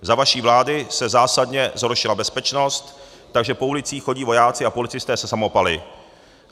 Za vaší vlády se zásadně zhoršila bezpečnost, takže po ulicích chodí vojáci a policisté se samopaly.